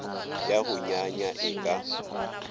ya go nyanya e ka